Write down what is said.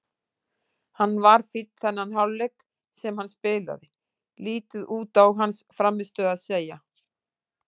Hann var fínn þennan hálfleik sem hann spilaði, lítið út á hans frammistöðu að segja.